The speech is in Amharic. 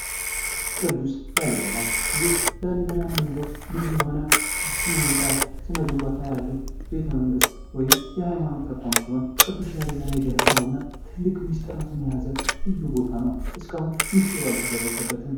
ቅዱስ ላሊበላ፦ ይህ ላሊበላ የምንለው ልዩ የሆነ ስነህንጻ ስነ ግንባታ ያለው ቤተመንግሥት ወይም የሐይማኖት ተቋም ሲሆን ቅዱስ ላሊበላ የገነባው እና ትልቅ ምስጢራትን የያዘ ልዩ ቦታ ነው። እስካሁን ምስጢሩ አልተደረሰበትም።